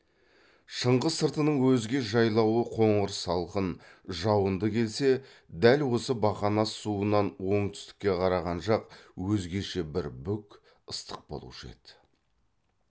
шыңғыс сыртының өзге жайлауы қоңыр салқын жауынды келсе дәл осы бақанас суынан оңтүстікке қараған жақ өзгеше бір бүк ыстық болушы еді